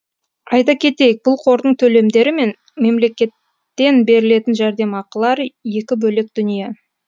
айта кетейік бұл қордың төлемдері мен мемлекеттен берілетін жәрдемақылар екі бөлек дүние